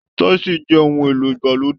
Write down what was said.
Tísìì jẹ ohun èlò ìgbàlódé.